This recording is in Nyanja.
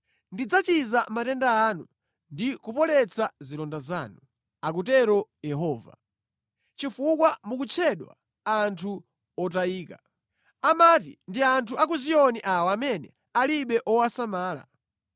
Ndidzachiza matenda anu ndi kupoletsa zilonda zanu, akutero Yehova, ‘chifukwa mukutchedwa anthu otayika. Amati, ndi anthu a ku Ziyoni awa amene alibe wowasamala.’ ”